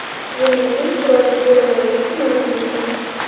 Yilning eng chiroyli goli muallifi ma’lum bo‘ldi .